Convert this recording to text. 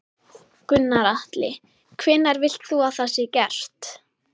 Gunnar Atli: Hvenær vilt þú að það sé gert?